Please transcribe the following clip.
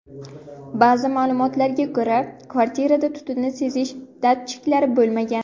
Ba’zi ma’lumotlarga ko‘ra, kvartirada tutunni sezish datchiklari bo‘lmagan.